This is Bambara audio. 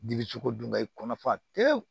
Dibi sogo dun ka i kɔnɔ fa tewu